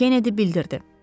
Kenedi bildirdi.